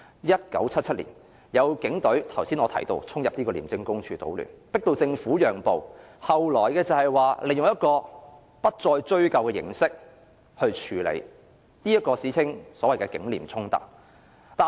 1977年，正如我剛才提到，更有警員衝進廉署總部搗亂，迫使政府讓步，最後是利用不再追究的形式來處理，即歷史上所謂"警廉衝突"。